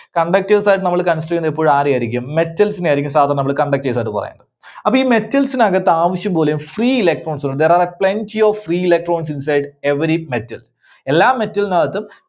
conductors ആയിട്ട് നമ്മള് consider ചെയ്യുന്നത് എപ്പോഴും ആരെയായിരിക്കും? metals നെ ആയിരിക്കും സാധാരണ നമ്മള് conductors ആയിട്ട് പറയുക. അപ്പോ ഈ metals ന് അകത്ത് ആവശ്യംപോലെ free electrons ഉണ്ട്. There are plenty of free electrons inside every metal. എല്ലാ metal ന് അകത്തും